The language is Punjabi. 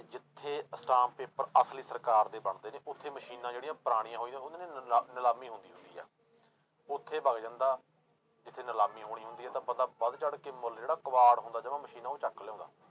ਜਿੱਥੇ ਅਸਟਾਮ ਪੇਪਰ ਅਸਲੀ ਸਰਕਾਰ ਦੇ ਬਣਦੇ ਨੇ ਉੱਥੇ ਮਸ਼ੀਨਾਂ ਜਿਹੜੀਆਂ ਪੁਰਾਣੀਆਂ ਹੋਈਆਂ ਨਿਲਾ~ ਨਿਲਾਮੀ ਹੁੰਦੀ ਹੁੰਦੀ ਆ, ਉੱਥੇ ਵਗ ਜਾਂਦਾ ਜਿੱਥੇ ਨਲਾਮੀ ਹੋਣੀ ਹੁੰਦੀ ਹੈ ਤਾਂ ਬੰਦਾ ਵੱਧ ਚੜ੍ਹ ਕੇ ਮੁਲ ਜਿਹੜਾ ਕਬਾੜ ਹੁੰਦਾ ਜਮਾ ਮਸ਼ੀਨ ਉਹ ਚੁੱਕ ਲਿਆਉਂਦਾ।